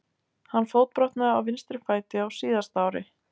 Hann fótbrotnaði á vinstri fæti á síðasta ári.